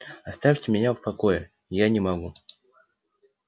оставьте меня в покое я не могу